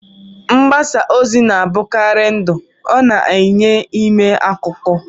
Mgbasa ozi na-abụkarị ndụ, ọ na-enye ime akụkọ.